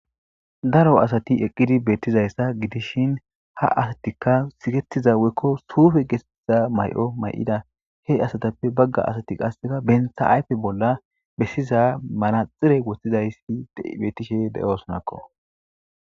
Daro asati eqizi beetiza gidishin ha asatika siketida woykko suufe geetethiza mayo mayida. He asatappe bagga asati qaseka bentta ayfe bolla besiza manaxire wotidaysa beetishe de7osonako.